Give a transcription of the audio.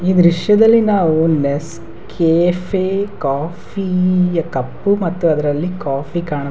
ಈ ದ್ರಶ್ಯದಲ್ಲಿ ನಾವು ನೆಸ್ಕೆಫೆ ಕಾಫಿ ಯ ಕಪ್ ಮತ್ತು ಅದ್ರಲ್ಲಿ ಕಾಫಿ ಕಾಣು --